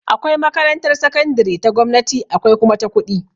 Akwai makarantar sakandire ta gwamnati akwai kuma ta kuɗi